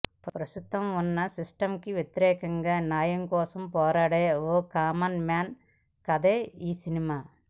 ప్రస్తుతం ఉన్న సిస్టంకి వ్యతిరేఖంగా న్యాయం కోసం పోరాడే ఓ కామన్ మాన్ కథే ఈ సినిమా